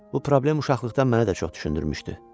Bu problem uşaqlıqdan mənə də çox düşündürmüşdü.